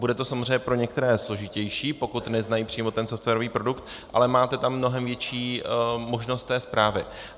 Bude to samozřejmě pro některé složitější, pokud neznají přímo ten softwarový produkt, ale máte tam mnohem větší možnost té správy.